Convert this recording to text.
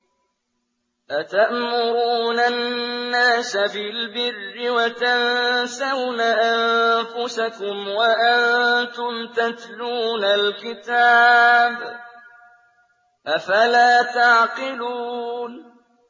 ۞ أَتَأْمُرُونَ النَّاسَ بِالْبِرِّ وَتَنسَوْنَ أَنفُسَكُمْ وَأَنتُمْ تَتْلُونَ الْكِتَابَ ۚ أَفَلَا تَعْقِلُونَ